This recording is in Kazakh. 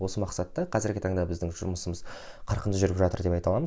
осы мақсатта қазіргі таңда біздің жұмысымыз қарқынды жүріп жатыр деп айта аламыз